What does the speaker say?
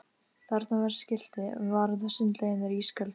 Þarna var skilti: Varúð sundlaugin er ísköld